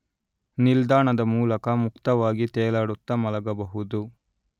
ನಿಲ್ದಾಣದ ಮೂಲಕ ಮುಕ್ತವಾಗಿ ತೇಲಾಡುತ್ತ ಮಲಗಬಹುದು